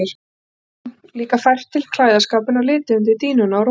Þá gæti hún líka fært til klæðaskápinn og litið undir dýnuna í rúminu.